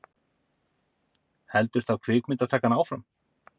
Heldur þá kvikmyndatakan áfram?